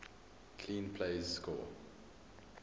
clean plays score